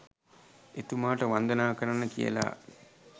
එතුමාට වන්දනා කරන්න කියලා